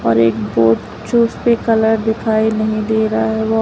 और एक बोट जो उसपे कलर दिखाई नहीं दे रहा है वो--